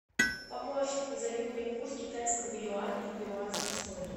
помощник назови мне курс китайского юаня в перуанский соль